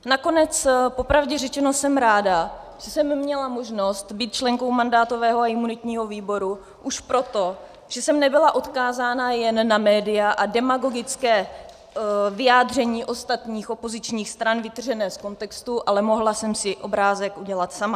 Nakonec popravdě řečeno jsem ráda, že jsem měla možnost být členkou mandátového a imunitního výboru, už proto, že jsem nebyla odkázána jen na média a demagogická vyjádření ostatních opozičních stran vytržená z kontextu, ale mohla jsem si obrázek udělat sama.